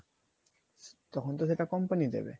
তখন তো সেটা company দেবে